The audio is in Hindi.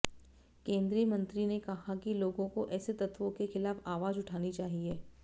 केंद्रीय मंत्री ने कहा कि लोगों को ऐसे तत्वों के खिलाफ आवाज उठानी चाहिए